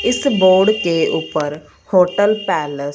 इस बोर्ड के ऊपर होटल पैलेस --